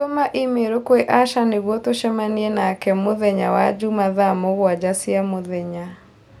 Tũma i-mīrū kwi Asha nĩguo tũcemanie nake mũthenya wa juma thaa mũgwanja cia mũthenya